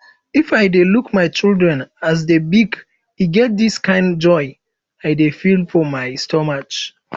if i dey look my children as dey big e get dis kind joy i dey feel for my stomach